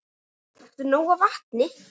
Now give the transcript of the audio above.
Drekktu nóg af vatni.